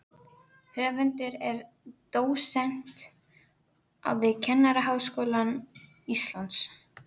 Höfundur er dósent við Kennaraháskóla Íslands.